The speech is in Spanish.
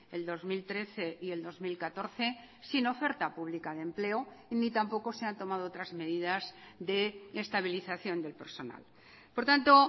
el dos mil trece y el dos mil catorce sin oferta pública de empleo ni tampoco se han tomado otras medidas de estabilización del personal por tanto